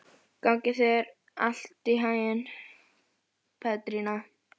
Notalegri en nokkur messa, beinlínis huggunarríkar.